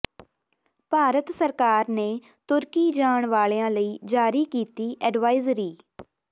ਭਾਰਤ ਸਰਕਾਰ ਨੇ ਤੁਰਕੀ ਜਾਣ ਵਾਲਿਆਂ ਲਈ ਜਾਰੀ ਕੀਤੀ ਐਡਵਾਇਜ਼ਰੀ